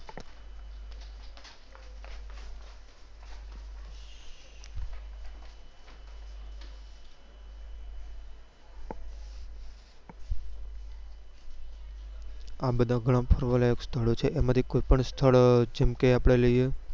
આ બધા ગણા ફરવા લાયક સ્થળો છે એમાં થી કોઈ પણ સ્થળ જેમ કે આપડે લઈએ